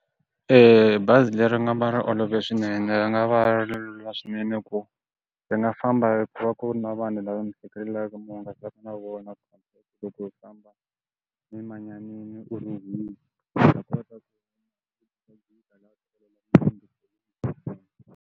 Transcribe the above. bazi leri nga ma ri olove swinene va nga va lula swinene ku ri nga famba i ku va ku ri na vanhu lava mi hetelelaka mi hungasa na vona vutomi.